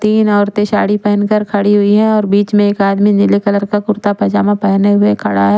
तीन औरते साड़ी पहनकर खड़ी हुई हे और बिच में एक आदमी नील कलर का कुर्ता पजामा पहन के खड़ा हुआ हे ।